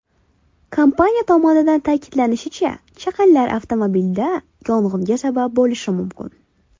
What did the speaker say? Kompaniya tomonidan ta’kidlanishicha, chaqinlar avtomobilda yong‘inga sabab bo‘lishi mumkin.